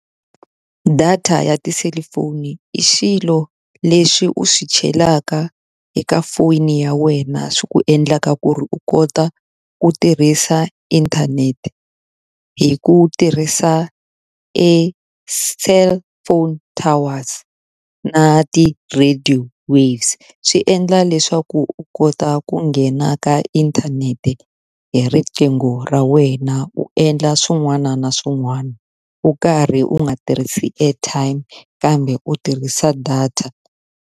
Data ya tiselifoni i xilo leswi u swi chelaka eka foni ya wena swi ku endlaka ku ri u kota ku tirhisa inthanete, hi ku tirhisa e cellphone towers na ti-radio waves. Swi endla leswaku u kota ku nghena ka inthanete hi riqingho ra wena u endla swin'wana na swin'wana, u karhi u nga tirhisi airtime kambe u tirhisa data.